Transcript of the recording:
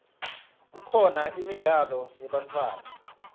kukhona imidlalo yebantfwana